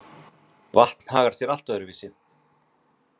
Vatn hagar sé allt öðru vísi.